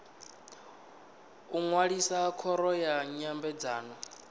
u ṅwalisa khoro ya nyambedzano